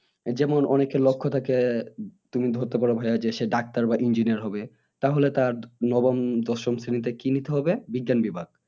যেমন অনেকের লক্ষ্য থাকে উহ তুমি ধরতে পারো ভাইয়া সে doctor বা engineer হবে তাহলে তার উম নবম বা দশম শ্রেণীতে কি নিতে হবে বিজ্ঞান বিভাগ